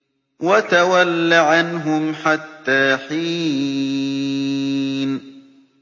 وَتَوَلَّ عَنْهُمْ حَتَّىٰ حِينٍ